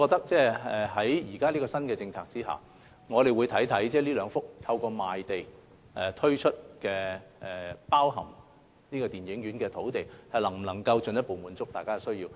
在新政策下，我們會審視上述兩幅包含電影院的用地，能否進一步滿足市民的需要。